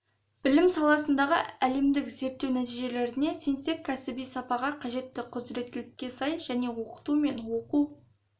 білім саласындағы әлемдік зерттеу нәтижелеріне сенсек кәсіби сапаға қажетті құзіреттілікке сай және оқыту мен оқу